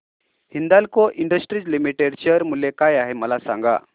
Hindalco industries limited share मूल्य काय आहे मला सांगा